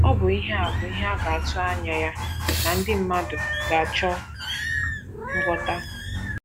Ọ bụ ihe a bụ ihe a ga - atụ anya ya na ndị mmadụ ga - achọ ngwọta.